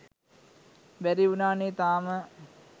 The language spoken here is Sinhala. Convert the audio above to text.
බැරි වුනානේ තාම.